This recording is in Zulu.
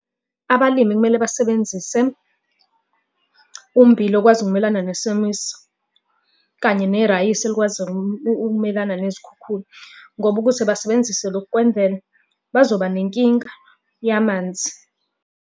Abalimi kumele basebenzise ummbila okwazi ukumelana nesomiso, kanye nerayisi elikwazi ukumelana nezikhukhula ngoba ukuthi basebenzise lokhu kwemvelo bazoba nenkinga yamanzi.